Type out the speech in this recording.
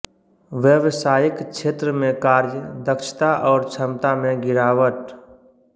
व्यवसायिक क्षेत्र में कार्य दक्षता और क्षमता में गिरावट